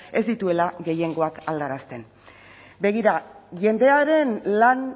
ez dituela gehiengoak aldarazten begira jendearen lan